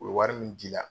U bɛ wari min jira